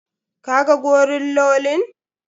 Ka ga gorillolin?